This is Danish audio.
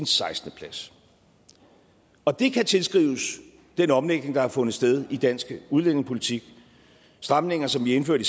sekstende og det kan tilskrives den omlægning der har fundet sted i dansk udlændingepolitik stramninger som vi indførte